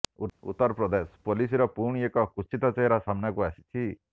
ଉତ୍ତର ପ୍ରଦେଶ ପୋଲିସର ପୁଣି ଏକ କୁତ୍ସିତ ଚେହେରା ସାମ୍ନାକୁ ଆସିଛି